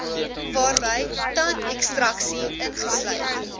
waarby tandekstraksie ingesluit